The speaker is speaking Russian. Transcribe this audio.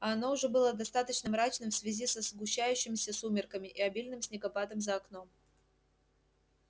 а оно уже было достаточно мрачным в связи со сгущающимися сумерками и обильным снегопадом за окном